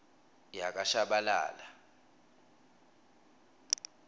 yakashabalala